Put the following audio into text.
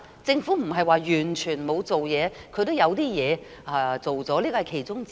政府不是完全沒有做事，它也做了一點事，這是其中之一。